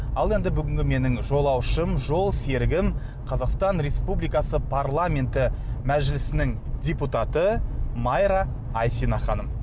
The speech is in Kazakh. ал енді бүгінгі менің жолаушым жолсерігім қазақстан республикасы парламенті мәжілісінің депутаты майра айсина ханым